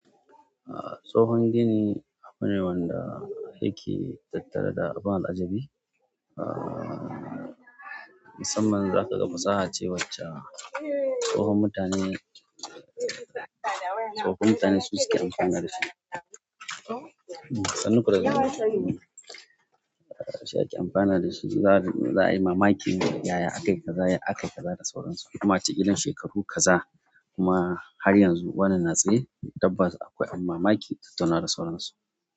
Tsohon gini abune wanda yake tattare da abun alajabi. Musamman za ka ga fasaha ce wacce tsohon mutane, tsofaffin mutane su suke amfana da shi. Sanun ku da dawowa, shi ake amfana da shi. Za a yi mamaki yaya aka yi, aka kaza da sauransu kuma cikin shekaru kaza kuma har yanzu wannan na tsaye tabbas akwai abun mamaki ta tuna da sauransu.